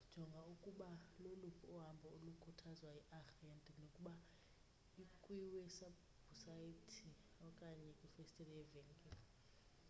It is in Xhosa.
jonga ukuba loluphi uhambo olukhuthazwa yiarhente nokuba ikwiwebhusayithi okanye kwifestile yevenkile